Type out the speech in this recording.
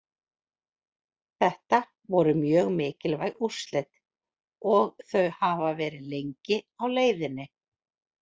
Þetta voru mjög mikilvæg úrslit og þau hafa verið lengi á leiðinni.